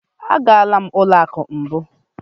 Agala m ụlọ akụ mbụ.